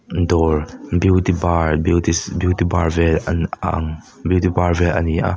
dawr beauty bar beauty sh bar vel a ang beauty bar vel a ni a.